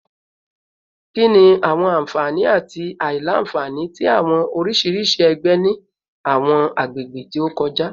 Kini awọn anfani ati aila-nfani ti awọn oriṣiriṣi ẹgbẹ ni awọn agbegbe ti o kọja?